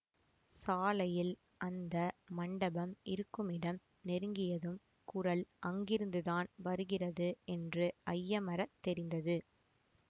சாலையில் அந்த மண்டபம் இருக்குமிடம் நெருங்கியதும் குரல் அங்கிருந்துதான் வருகிறது என்று ஐயமறத் தெரிந்தது